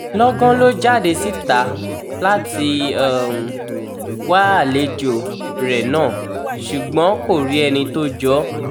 lọ́gán ló jáde síta láti wá àlejò rẹ̀ náà ṣùgbọ́n kò rí ẹni tó jọ ọ́